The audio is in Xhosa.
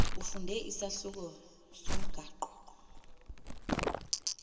ufunde isahluko somgaqo